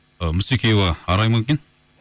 ы мусекеева арай ма екен